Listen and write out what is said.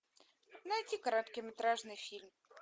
найти короткометражный фильм